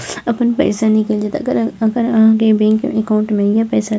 अपन पैसा निकल जेतो अगर अगर आहां के बैंक अकाउंट में या पैसा --